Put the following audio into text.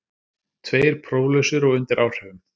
Tveir próflausir og undir áhrifum